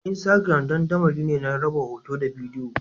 Instagram dandamali ne na raba hoto da bidiyo